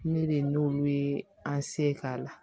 Ne de ye nolu ye an se k'a la